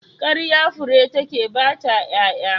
Ƙarya fure take bata ƴaƴa.